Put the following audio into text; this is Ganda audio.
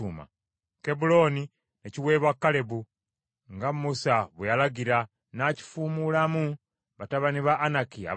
Kebbulooni n’ekiweebwa Kalebu, nga Musa bwe yalagira, n’akifuumulamu batabani ba Anaki abasatu.